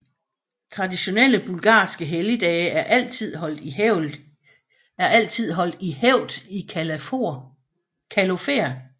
Traditionelle bulgarske helligdage er altid holdt i hævd i Kalofer